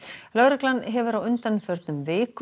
lögreglan hefur á undanförnum vikum